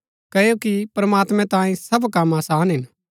क्ओकि प्रमात्मैं तांई सब कम आसान हिन